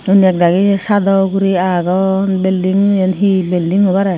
undi ekdagi sado ugurey agon building eyen he building hobare.